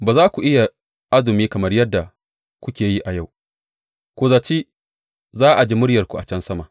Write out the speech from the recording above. Ba za ku iya azumi kamar yadda kuke yi a yau ku zaci za a ji muryarku can sama.